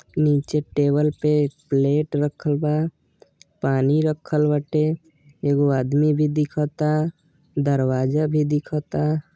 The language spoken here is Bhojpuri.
निचे टेवल पे प्लेट रखल बा पानी रखल बाटे। एगो आदमी भी दिखाता दरवाजा भी दिखाता।